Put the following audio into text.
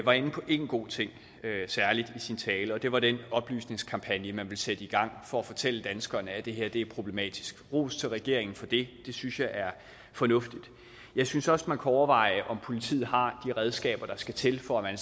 var inde på en god ting i sin tale og det var den oplysningskampagne man vil sætte i gang for at fortælle danskerne at det her er problematisk ros til regeringen for det det synes jeg er fornuftigt jeg synes også man kunne overveje om politiet har de redskaber der skal til for at man